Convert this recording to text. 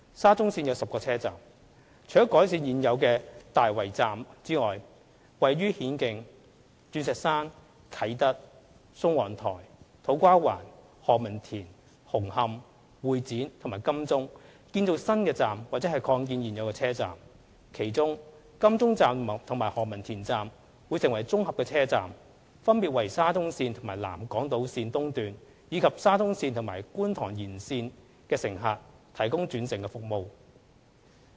沙中線設有10個車站，除改善現有的大圍站外，亦會於顯徑、鑽石山、啟德、宋皇臺、土瓜灣、何文田、紅磡、會展和金鐘建造新站或擴建現有車站，其中金鐘站和何文田站會成為綜合車站，分別為沙中線和南港島線，以及沙中線和觀塘線延線的乘客提供轉乘服務。